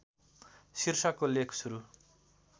शीर्षकको लेख सुरु